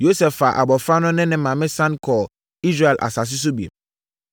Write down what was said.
Yosef faa abɔfra no ne ne maame sane kɔɔ Israel asase so bio.